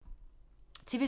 TV 2